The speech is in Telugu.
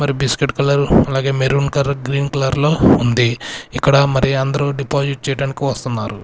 మరి బిస్కెట్ కలర్ అలాగే మెరూన్ కలర్ గ్రీన్ కలర్ లో ఉంది ఇక్కడ మరి అందరూ డిపాజిట్ చేయడానికి వస్తున్నారు.